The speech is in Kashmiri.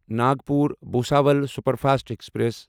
Nagpur Bhusawal superfast express